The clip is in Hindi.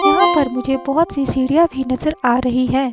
यहां पर मुझे बहोत सी सीढ़ियां भी नजर आ रही है।